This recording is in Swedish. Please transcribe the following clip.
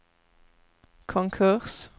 konkurs